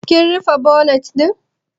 Kim rufe bonet ɗin?